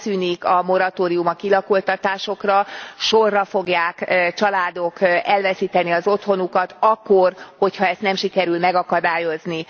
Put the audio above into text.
Megszűnik a moratórium a kilakoltatásokra, sorra fogják családok elveszíteni az otthonukat akkor, hogyha ezt nem sikerül megakadályozni.